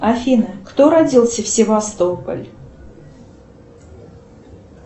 афина кто родился в севастополь